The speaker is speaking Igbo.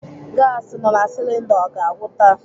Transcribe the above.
Gasi nọ na silinda ọ ga-agwụ taa?